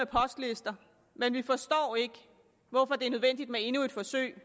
postlister men vi forstår ikke hvorfor det er nødvendigt med endnu et forsøg